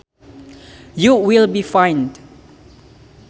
You will be fined